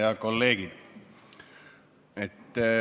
Head kolleegid!